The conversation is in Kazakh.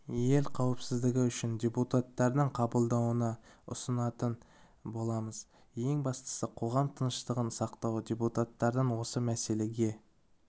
ел қауіпсіздігі үшін депутаттардың қабылдауына ұсынатын боламыз ең бастысы қоғам тыныштығын сақтау депутаттардан осы мәселеге